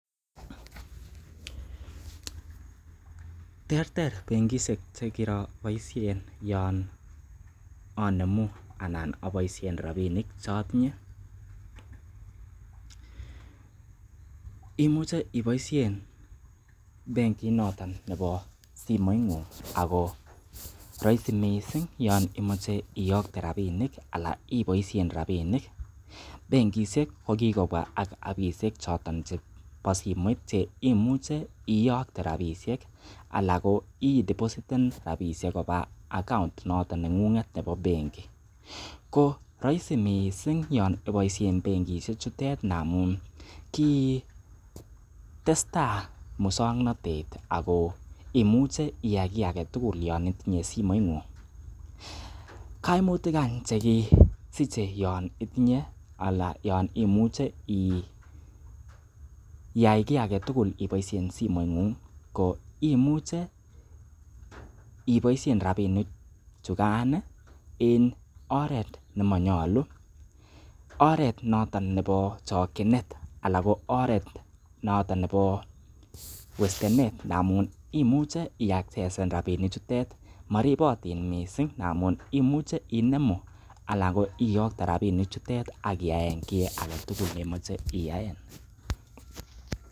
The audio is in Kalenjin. Terter benkishek che kiroboisien yon anemu anan aboishen rabinik chotinye imuche iboishen bengit nootn nebo simoing'ung ago roisi misng yon imoche iyokte rabinik ala iboishen rabinik. Benkishekko kigobwa ak appishek choton chebo simoit che imuche iyokte rabishek ala ko idepositen rabishek koba account noton neng'ung'et nebo benki. Ko roisi mising yon iboishen benkishek chutet ndamun ki testa muswoknatet ak ko imuche iyai kiy age tugul yon itinye simoing'ung. Kaimutik any che kisiche yon itinye ala yon imuche iyai kiy age tugul iboisien simoing'ung ko imuche iboiisein rabinik chukkan en oret nemanyolu oret noton nebo chokinet anan ko oret nootn nebo wastenet ndamun imuche iaccesesen rabinik chutet moribotin misng ngamun imuche inemu anan ko iyokte rabinik chutet ak iyaen kiy agetugul nemoche iyaen.